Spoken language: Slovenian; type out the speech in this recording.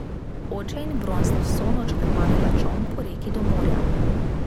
Oče in Bron sta vso noč krmarila čoln po reki do morja.